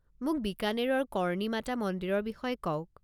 মোক বিকানেৰৰ কৰ্ণী মাতা মন্দিৰৰ বিষয়ে কওক।